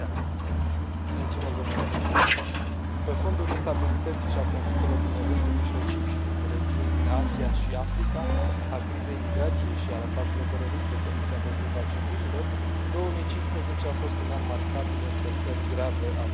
Domnule președinte, pe fondul instabilității și al conflictelor din Orientul Mijlociu și din regiuni din Asia și Africa, al crizei migrației și al atacurilor teroriste comise împotriva civililor, 2015 a fost un an marcat de încălcări grave ale drepturilor omului.